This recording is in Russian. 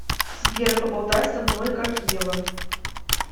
сбер поболтай со мной как ева